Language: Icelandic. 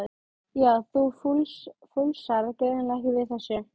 Jæja, þú fúlsar greinilega ekki við þessu.